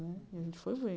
E a gente foi ver.